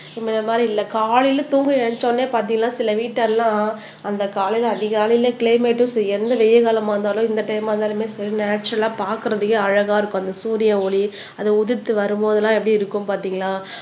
முன்ன மாதிரி இல்லை காலையில தூங்க நினைச்சவுடனே பார்த்தீங்கன்னா சில வீட்டெல்லாம் அந்த காலையில அதிகாலையில கிளைமேட்டும் சரி எந்த வெயில் காலமா இருந்தாலும் இந்த டைம் இருந்தாலுமே சரி நேச்சரல்லா பார்க்கிறதுக்கே அழகா இருக்கும் அந்த சூரிய ஒளி அது உதிர்த்து வரும்போதெல்லாம் எப்படி இருக்கும் பாத்தீங்களா